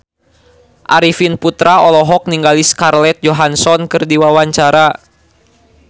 Arifin Putra olohok ningali Scarlett Johansson keur diwawancara